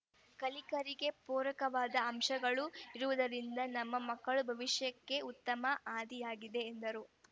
ಕಲಿಕೆಗೆ ಪೂರಕವಾದ ಅಂಶಗಳು ಇರುವುದರಿಂದ ನಮ್ಮ ಮಕ್ಕಳ ಭವಿಷ್ಯಕ್ಕೆ ಉತ್ತಮ ಹಾದಿಯಾಗಿದೆ ಎಂದರು